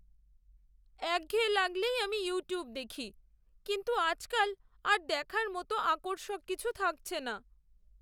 একঘেয়ে লাগলেই আমি ইউটিউব দেখি। কিন্তু আজকাল আর দেখার মতো আকর্ষক কিছু থাকছে না।